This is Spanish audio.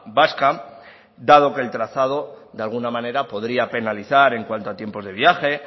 vasca dado que el trazado de alguna manera podría penalizar en cuanto a tiempos de viaje